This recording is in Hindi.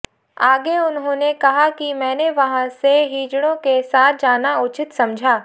आगे उन्होंने कहा कि मैंने वहाँ से हिजड़ों के साथ जाना उचित समझा